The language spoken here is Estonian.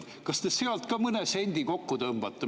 Kas te sealt ka mõne sendi kokku tõmbate?